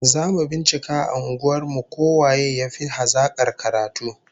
Zamu bincika a unguwar mu ko waye yafi hazakar karatu